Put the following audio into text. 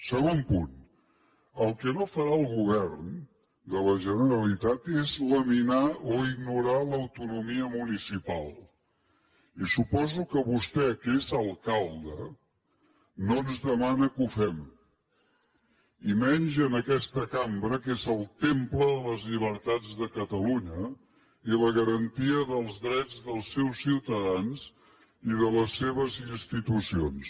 segon punt el que no farà el govern de la generalitat és laminar o ignorar l’autonomia municipal i suposo que vostè que és alcalde no ens demana que ho fem i menys en aquesta cambra que és el temple de les llibertats de catalunya i la garantia dels drets dels seus ciutadans i de les seves institucions